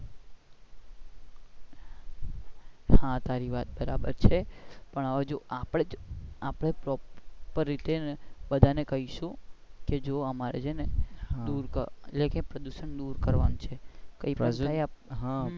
હા તારી વાત બરાબર છે પણ હવે જો આપણે જ proper રીતે બધા ને કહીશું કે જો અમારે છે ને પ્રદુશન દૂર કરવાનું છે.